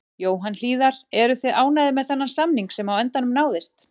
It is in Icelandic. Jóhann Hlíðar: Eruð þið ánægðir með þann samning sem á endanum náðist?